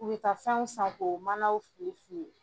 U bɛ ta fɛnw san k'o manaw filɛ filɛ